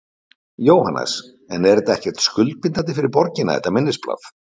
Jóhannes: En er þetta ekkert skuldbindandi fyrir borgina, þetta minnisblað?